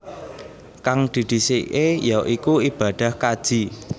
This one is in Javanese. Kang didhisikké ya iku ibadah kaji